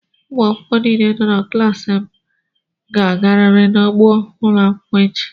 Ụmụ akwụkwọ niile nọ na klaasị a ga-agarịrị n'ugbo ụlọ akwụkwọ echi!